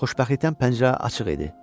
Xoşbəxtlikdən pəncərə açıq idi.